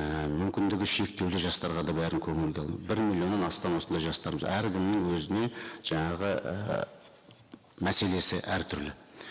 і мүмкіндігі шектеулі жастарға да бәрін көңілді бір миллионнан астам осындай жастарымыз әркімнің өзіне жаңағы ііі мәселесі әртүрлі